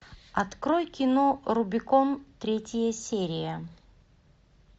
открой кино рубикон третья серия